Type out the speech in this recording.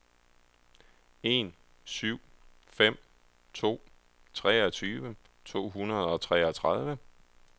en syv fem to treogtyve to hundrede og treogtredive